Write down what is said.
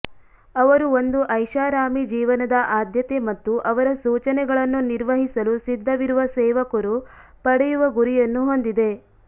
ಅವರು ಒಂದು ಐಷಾರಾಮಿ ಜೀವನದ ಆದ್ಯತೆ ಮತ್ತು ಅವರ ಸೂಚನೆಗಳನ್ನು ನಿರ್ವಹಿಸಲು ಸಿದ್ಧವಿರುವ ಸೇವಕರು ಪಡೆಯುವ ಗುರಿಯನ್ನು ಹೊಂದಿದೆ